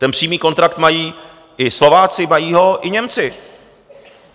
Ten přímý kontrakt mají i Slováci, mají ho i Němci.